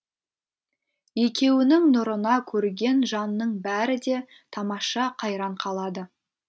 екеуінің нұрына көрген жанның бәрі де тамаша қайран қалады